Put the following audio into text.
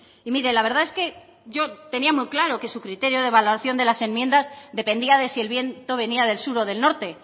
y mire la verdad es que yo tenía muy claro que su criterio de valoración de las enmiendas dependía de si el viento venía del sur o del norte